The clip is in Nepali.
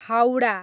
हाउडा